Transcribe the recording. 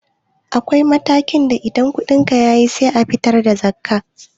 Akwai matakin da in kuɗinka ya kai sai ka fitar da zakkah